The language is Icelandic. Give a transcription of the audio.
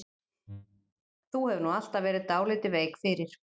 Þú hefur nú alltaf verið dálítið veik fyrir